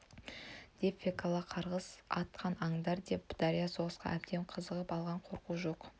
деп фекла қарғыс атқан аңдар деп дарья соғысқа әбден қызығып алған қорқу жоқ